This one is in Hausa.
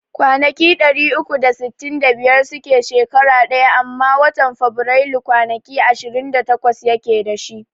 Kwanaki ɗari uku da sittin da biyar suke shekara ɗaya amma watan Faburailu kwanaki ishirin da takwas yake dashi